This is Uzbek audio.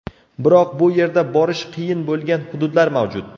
Biroq bu yerda borish qiyin bo‘lgan hududlar mavjud.